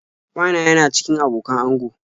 Wa na yana cikin abokan ango.